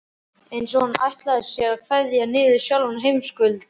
Eins og hann ætli sér að kveða niður sjálfan heimskautakuldann.